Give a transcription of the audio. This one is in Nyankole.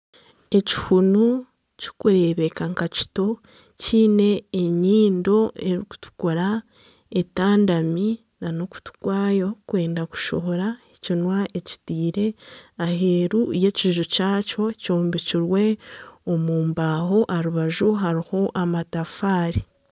Ekihuunu kikureebeka nka kito kyine enyindo erikutukura etandami n'okutu kwayo kurikwenda kushohora ekinwa ekitaire eheeru y'ekiju kyakyo kyombekirwe omu mbaho aha rubaju hariho amatafaari.